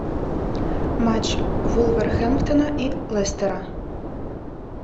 матч вулверхэмптона и лестера